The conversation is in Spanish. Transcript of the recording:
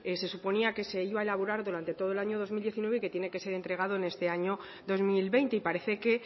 se suponía que se iba a elaborar durante todo el año dos mil diecinueve y que tiene que ser entregado en este año dos mil veinte y parece que